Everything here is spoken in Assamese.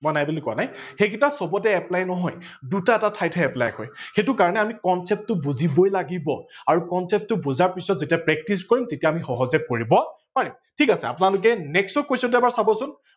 মই নাই বুলি কোৱা নাই সেইগিতা চবতে apply নহয়। দুটা এটা ঠাইত হে apply হয় সেইটো কাৰনে আমি concept টো বুজিবই লাগিব, আৰু concept টো বুজা পাছত যেতিয়া practice কৰিম তেতিয়া আমি সহজে কৰিব পাৰিম, ঠিক আছে আপোনালোকে next question টো চাব চোন